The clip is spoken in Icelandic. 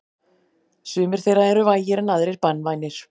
Sumir þeirra eru vægir en aðrir banvænir.